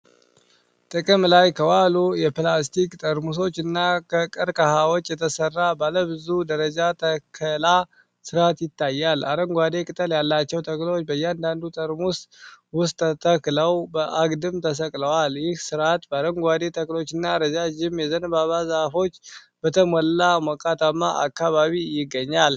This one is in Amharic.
ጥቅም ላይ ከዋሉ የፕላስቲክ ጠርሙሶችና ከቀርከሃዎች የተሰራ ባለ ብዙ ደረጃ ተከላ ስርዓት ይታያል። አረንጓዴ ቅጠል ያላቸው ተክሎች በእያንዳንዱ ጠርሙስ ውስጥ ተተክለው በአግድም ተሰቅለዋል። ይህ ስርዓት በአረንጓዴ ተክሎችና ረዣዥም የዘንባባ ዛፎች በተሞላ ሞቃታማ አካባቢ ይገኛል።